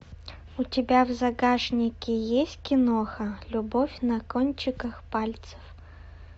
у тебя в загашнике есть киноха любовь на кончиках пальцев